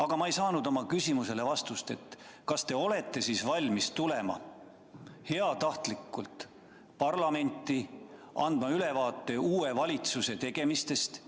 Aga ma ei saanud vastust oma küsimusele, kas te olete valmis tulema parlamenti andma ülevaadet uue valitsuse tegemistest.